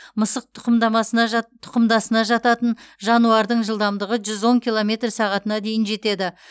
мысық тұқымдамасына жат тұқымдасына жататын жануардың жылдамдығы жүз он километр сағатына дейін жетеді